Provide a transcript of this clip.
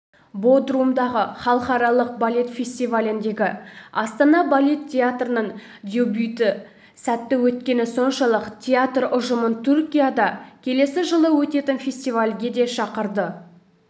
бодрумдағы халықаралық балет фестиваліндегі астана балет театрының дебюті сәтті өткені соншалық театр ұжымын түркияда келесі жылы өтетін фестивальге де шақырды